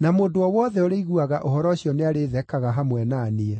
na mũndũ o wothe ũrĩiguaga ũhoro ũcio nĩarĩthekaga hamwe na niĩ.”